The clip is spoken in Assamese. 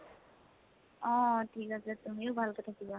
অহ। ঠিক আছে । তুমিও ভালকে থাকিবা।